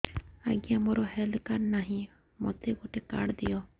ଆଜ୍ଞା ମୋର health card ନାହିଁ ମୋତେ ଗୋଟେ କାର୍ଡ ଦିଅ